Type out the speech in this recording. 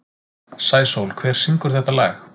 Sæsól, hver syngur þetta lag?